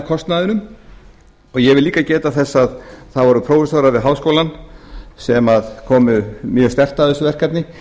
kostnaðinum og ég vil líka geta þess að það voru prófessorar við háskólann sem komu mjög sterkt að þessu verkefni